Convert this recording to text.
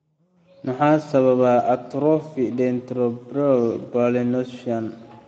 Maxaa sababa atrophy dentatorubral pallidoluysian (DRPLA)?